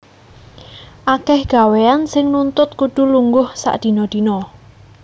Akèh gawéyan sing nuntut kudu lungguh sedina dina